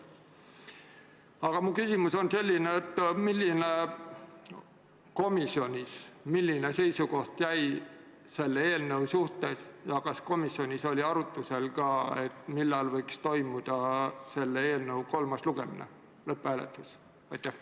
Aga mu küsimus on selline: milline seisukoht komisjonis oli selle eelnõu suhtes ja kas komisjonis oli arutlusel ka see, millal võiks toimuda selle eelnõu kolmas lugemine, lõpphääletus?